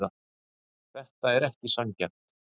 Þetta er ekki sanngjarnt.